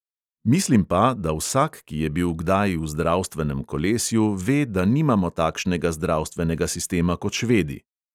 Mislim pa, da vsak, ki je bil kdaj v zdravstvenem kolesju, ve, da nimamo takšnega zdravstvenega sistema kot švedi.